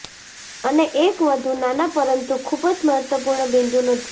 અને એક વધુ નાના પરંતુ ખૂબ જ મહત્વપૂર્ણ બિંદુ નથી